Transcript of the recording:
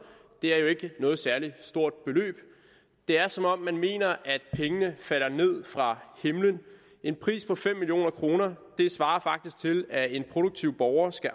det er jo ikke noget særlig stort beløb det er som om man mener at pengene falder ned fra himlen en pris på fem million kroner svarer faktisk til at en produktiv borger skal